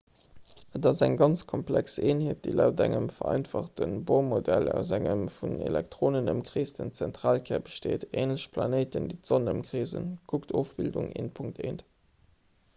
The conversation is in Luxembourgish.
et ass eng ganz komplex eenheet déi laut engem vereinfachte bohr-modell aus engem vun elektronen ëmkreesten zentralkär besteet änlech planéiten déi d'sonn ëmkreesen kuckt ofbildung 1.1